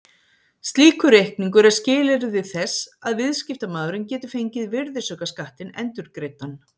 Slíkur reikningur er skilyrði þess að viðskiptamaðurinn geti fengið virðisaukaskattinn endurgreiddan.